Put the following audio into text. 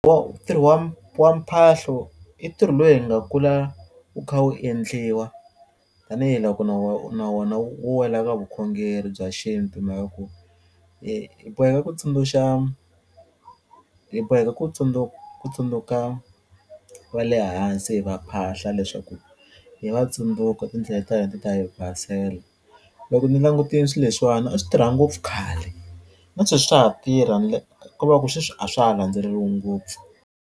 ntirho wa mphahlo i ntirho lowu hi nga kula wu kha wu endliwa tanihiloko na na wona wu wela ka vukhongeri bya xintu hi mhaka ku hi boheka ku tsundzuxa hi boheka ku ku tsundzuka va le hansi hi va phahla leswaku hi va tsundzuka tindlela ta hina ti ta hi basela loko ni langutile swi leswiwani a swi tirha ngopfu khale na sweswi swa ha tirha ko va ku sweswi a swa ha landzeriwi ngopfu.